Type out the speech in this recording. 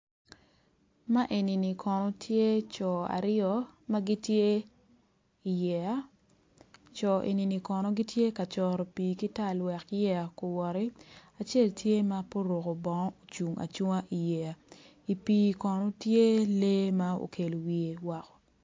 Man eni kono gitye co aryo ma gitye i yeya co eni gitye ka coro pii ki tal wek yeya owoti acel tye ma pe oruko bongo ocung acunga i yeya i pii kono tye lee ma okelo wiye woko.